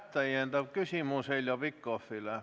Täiendav küsimus Heljo Pikhofilt.